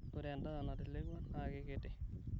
ore edaa natelekua naakikiti